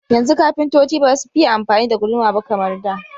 Yanzu kafintoci basu fiye amfani da guduma ba kamar da.